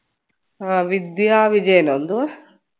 ആ വിദ്യ വിജയനോ എന്തുവാ